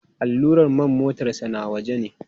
Allurar man motarsa ​​na waje ne.